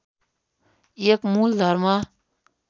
एक मूल धर्म